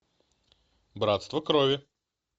братство крови